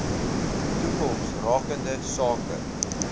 toekoms rakende sake